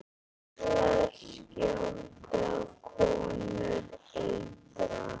Karlar skjóta, konur eitra.